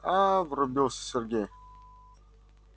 аа врубился сергей